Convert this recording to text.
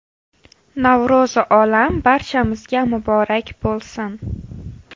Navro‘zi olam barchamizga muborak bo‘lsin!”